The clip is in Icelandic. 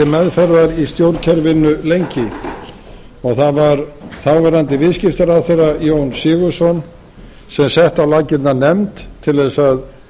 meðferðar í stjórnkerfinu lengi það var þáv viðskiptaráðherra jón sigurðsson sem setti á laggirnar nefnd til þess að